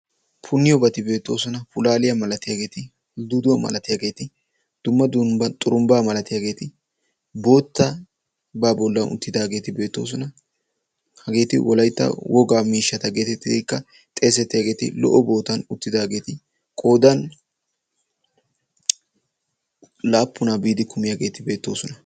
Punniyobati beettoosona, pulaaliya milatiyageeti, uldduuduwa malatiyageeti, dumma dumma xurumbbaa milatiyageeti boottabaa bollan uttidaageeti beettoosona. Hageeti wolaytta wogaa miishshata geetettidi xeesettiyageetikka lo'o bootan uttidaageeti laappunaa biidi kumiyageeti beettoosona.